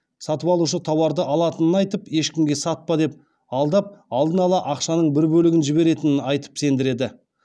сатып алушы тауарды алатынын айтып ешкімге сатпа деп алдап алдын ала ақшаның бір бөлігін жіберетінін айтып сендіреді